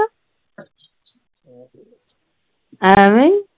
ਐਵੇਂ ਹੀ